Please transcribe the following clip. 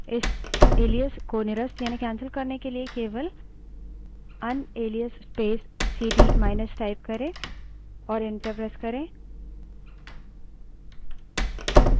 इस एलाइस को निरस्त यानि कैन्सल करने के लिए केवल unalias space CD minus type करे और enter press करे